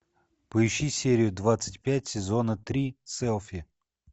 поищи серию двадцать пять сезона три селфи